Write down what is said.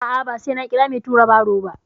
A'a, ba sai na kira mai tura baro ba.